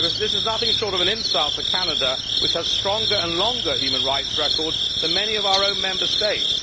This is nothing short of an insult to Canada, which has stronger and longer human rights records than many of our own Member States.